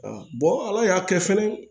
ala y'a kɛ fɛnɛ